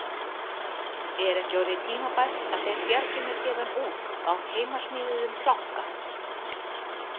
Er ekki orðið tímabært að þeir bjargi mér héðan út á heimasmíðuðum planka?